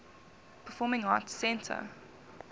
performing arts center